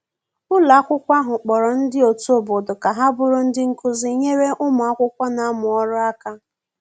ụlọ akwụkwo ahụ kporo ndi otu obodo ka ha bụrụ ndi nkụzi nyere ụmụ akwụkwo n'amu ọrụ aka